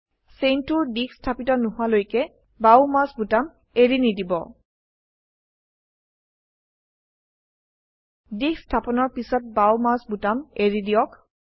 চেইনটোৰ দিশ স্থাপিত নোহোৱালৈকে বাও মাউস বোতাম এৰি নিদিব দিশ স্থাপনৰ পিছত বাও মাউস বোতাম এৰি দিয়ক